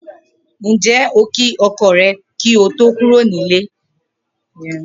Ǹjé̩ o kí o̩ko̩ rè̩ kí o tó kúrò nílé?